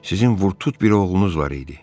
Sizin Vurtut bir oğlunuz var idi.